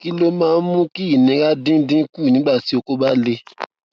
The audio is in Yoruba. kí ló máa ń mú kí ìnira dín dín kù nígbà tí oko ba le